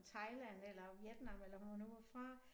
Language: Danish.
Fra Thailand eller Vietnam eller hvor hun nu var fra